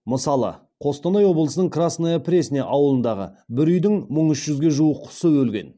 мысалы қостанай облысының красная пресня ауылындағы бір үйдің мың үш жүзге жуық құсы өлген